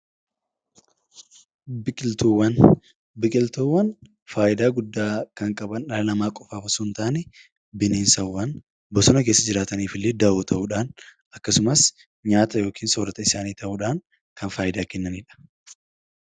Biqiltuuwwan faayidaa guddaa kan qaban dhala namaa qofaaf osoo hin taane bineensaawwan bosona keessa jiraniif illee dawoo ta'uudhan akkasumas nyaata yookiin soorrata ta'uudhan faayidaa kan kennanidha.